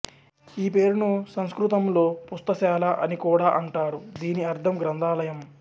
ఈ పేరును సంస్కృతంలో పుస్తశాల అని కూడా అంటారు దీని అర్థం గ్రంధాలయం